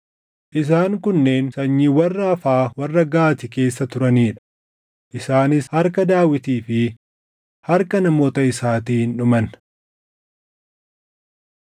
Isaan kunneen sanyiiwwan Raafaa warra Gaati keessa turanii dha; isaanis harka Daawitii fi harka namoota isaatiin dhuman.